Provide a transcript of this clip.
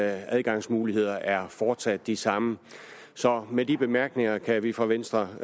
adgangsmuligheder er fortsat de samme så med de bemærkninger kan vi fra venstres